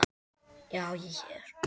Já, ég er hér.